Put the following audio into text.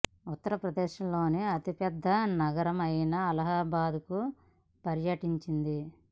ఉత్తర ప్రదేశ లోని అతి పెద్ద నగరం అయిన అలహాబాద్ కు పర్యటించండి